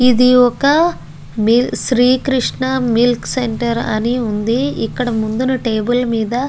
ఇది ఒక Sri Krishna milk centre అని వుంది ఇక్కడ ముందన టేబుల్ మీద --